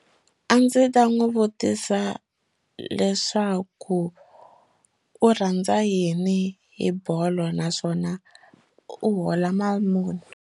A ndzi ta n'wi vutisa leswaku u rhandza yini hi bolo naswona u hola mali muni.